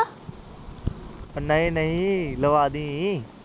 ਉਹ ਨਹੀਂ ਨਹੀਂ ਲਾਵਾਂ ਦੀ